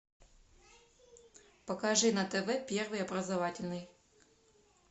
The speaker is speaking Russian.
покажи на тв первый образовательный